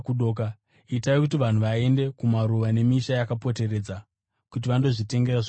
Itai kuti vanhu vaende kumaruwa nemisha yakapoteredza kuti vandozvitengera zvokudya.”